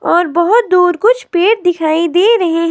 और बहुत दूर कुछ पेड़ दिखाई दे रहे--